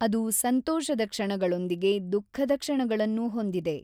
ಅದು ಸಂತೋಷದ ಕ್ಷಣಗಳೊಂದಿಗೆ ದುಃಖದ ಕ್ಷಣಗಳನ್ನೂ ಹೊಂದಿದೆ.